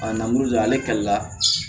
ale kalila